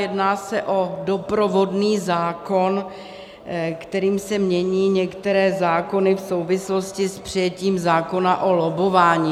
Jedná se o doprovodný zákon, kterým se mění některé zákony v souvislosti s přijetím zákona o lobbování.